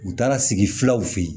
U taara sigi filaw fe yen